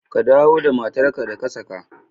Ka dawo da matar ka da ka saka!